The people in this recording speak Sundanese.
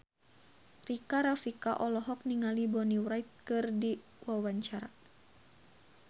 Rika Rafika olohok ningali Bonnie Wright keur diwawancara